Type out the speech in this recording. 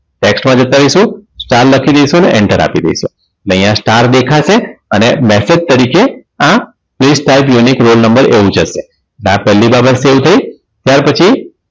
tax માં જતા રહીશું star લખી દઈશું અને enter આપી દઈશું અને અહીંયા star દેખાશે અને message તરીકે આ place time unik roll number આવી જશે એટલે આ પહેલી બાબત stel થઈ ત્યાર પછી